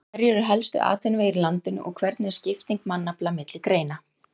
Hverjir eru helstu atvinnuvegir í landinu og hvernig er skipting mannafla milli greina?